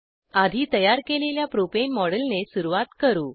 आधी तयार केलेल्या प्रोपेन मॉडेलने सुरवात करू